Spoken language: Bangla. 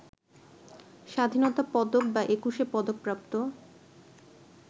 স্বাধীনতা পদক বা একুশে পদকপ্রাপ্ত